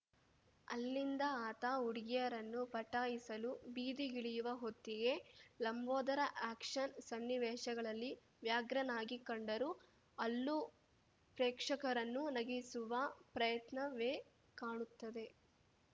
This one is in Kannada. ಅಲ್ಲಿಂದ ಆತ ಹುಡುಗಿಯರನ್ನು ಪಟಾಯಿಸಲು ಬೀದಿಗಿಳಿಯುವ ಹೊತ್ತಿಗೆ ಲಂಬೋದರ ಆ್ಯಕ್ಷನ್‌ ಸನ್ನಿವೇಶಗಳಲ್ಲಿ ವ್ಯಾಘ್ರನಾಗಿ ಕಂಡರೂ ಅಲ್ಲೂ ಪ್ರೇಕ್ಷಕರನ್ನು ನಗಿಸುವ ಪ್ರಯತ್ನವೇ ಕಾಣುತ್ತದೆ